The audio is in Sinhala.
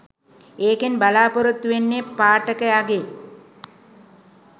ඒකෙන් බලාපොරොත්තු වෙන්නෙ පාඨකයගෙ